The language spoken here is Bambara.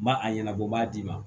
N b'a a ɲɛnabɔ n b'a d'i ma